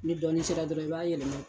Ni dɔɔni sera dɔrɔn i b'a yɛlɛma.